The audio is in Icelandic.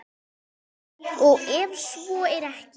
Og ef svo er ekki?